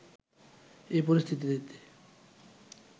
এ পরিস্থিতিতে